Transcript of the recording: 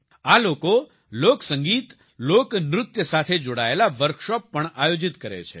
આ લોકો લોકસંગીત લોકનૃત્ય સાથે જોડાયેલા વર્કશોપ પણ આયોજિત કરે છે